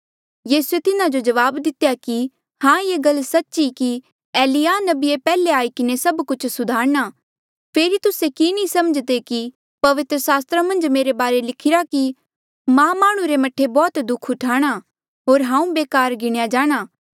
यीसूए तिन्हा जो जवाब दितेया कि हां ये गल सच्च ई कि एलिय्याह नबीया पैहले आई किन्हें सब कुछ सुधारणा फेरी तुस्से कि नी समझ्दे कि पवित्र सास्त्रा मन्झ मेरे बारे लिखिरा कि मां माह्णुं रे मह्ठे बौह्त दुःख ऊठाणा होर हांऊँ बेकार गिणेया जाणा